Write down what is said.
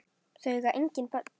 Þau eiga engin börn.